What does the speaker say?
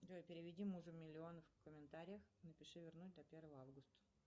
джой переведи мужу миллион в комментариях напиши вернуть до первого августа